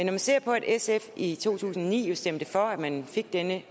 man ser på at sf i to tusind og ni stemte for at man fik denne